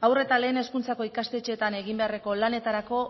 haur eta lehen hezkuntzako ikastetxeetan egin beharreko lanetarako